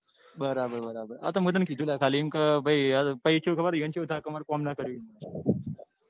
બરાબર બરાબર અતો મેં તને કીધું કે લ્યા ખાલી એમ ક પછી એમને કેવું થાય કે માર કામ નાં કર્યું.